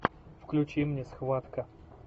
включи мне схватка